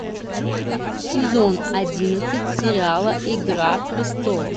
сезон одиннадцать сериала игра престолов